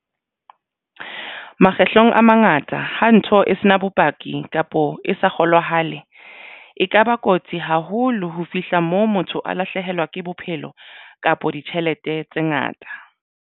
Makgetlong a mangata ha ntho e se na bopaki kapo e sa kgolwahale e kaba kotsi haholo ho fihla moo motho a lahlehelwa ke bophelo kapa ditjhelete tse ngata.